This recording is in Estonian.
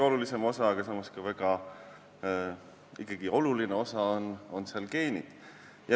Üks osa, ehkki mitte kõige olulisem, on geenid.